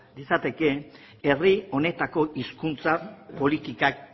litzakete herri honetako hizkuntza politikak